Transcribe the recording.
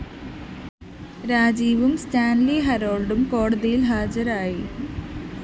രാജീവും Stanley ഹരോള്‍ഡും കോടതിയില്‍ ഹാജരായി